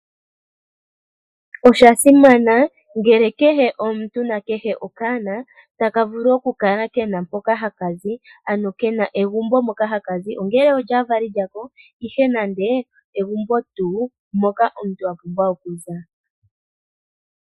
Oshasimana ngele kehe omuntu nakehe okaana taka vulu okukala kena mpoka hakazi ano kena egumbo moka hakazi ongele olyaavali yako, ihe nande egumbo tuu moka omuntu apumbwa okuza.